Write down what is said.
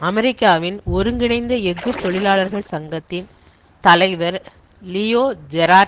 அமெரிக்காவின் ஒருங்கிணைந்த எஃகு தொழிலாளர்கள் சங்கத்தின் தலைவர் லியோ ஜெரார்ட்